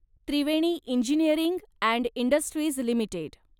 Triveni engineering and industries limited